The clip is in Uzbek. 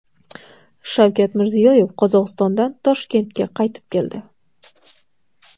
Shavkat Mirziyoyev Qozog‘istondan Toshkentga qaytib keldi.